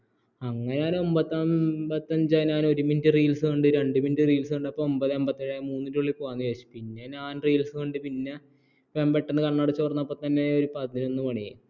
അങ്ങനെ ഞാൻ ഒൻപത് അൻപത്തഞ്ച് ആയി ഒരു മിനിറ്റ് reels കണ്ട് രണ്ടു മിനിറ്റ് reels കണ്ടപ്പോൾ ഒമ്പത് അൻപത്തി ഏഴ് ആയി മൂന്നിൻ്റെ ഉള്ളിൽ പോവാൻ വിചാരിച്ചു പിന്നെ ഞാൻ reels കണ്ട് പെട്ടെന്ന് കണ്ണടച്ച് തുറന്നപ്പോൾ തന്നെ പതിനൊന്ന് മണിയായി